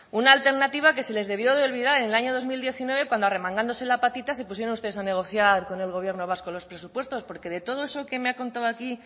una alternativa que se les debió de olvidar en el año dos mil diecinueve cuando arremangándose la patita se pusieron ustedes a negociar con el gobierno vasco los presupuestos porque de todo eso que me ha contado aquí